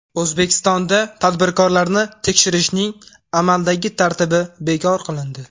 O‘zbekistonda tadbirkorlarni tekshirishning amaldagi tartibi bekor qilindi.